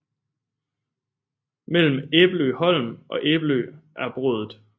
Mellem Æbelø Holm og Æbelø er Brådet